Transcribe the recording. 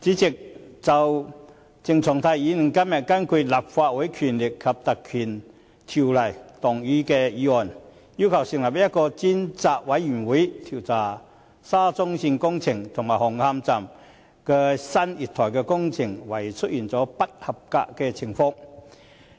主席，鄭松泰議員今天根據《立法會條例》動議議案，要求成立專責委員會，調查沙田至中環線工程紅磡站新月台工程懷疑出現不合格的情況。